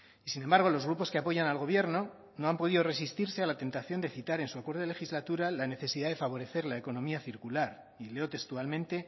y sin embargo los grupos que apoyan al gobierno no han podido resistirse a la tentación de citar en su acuerdo de legislatura la necesidad de favorecer la economía circular y leo textualmente